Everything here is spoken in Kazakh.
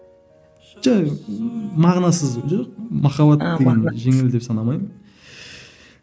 жоқ ыыы мағынасыз жоқ махаббат дегенді жеңіл деп санамаймын